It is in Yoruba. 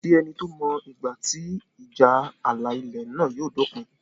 Kò sí ẹni tó mọ ìgbà tí ìjà ààlà ilẹ̀ náà yóò dópin